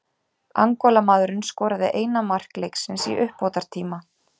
Angólamaðurinn skoraði eina mark leiksins í uppbótartíma.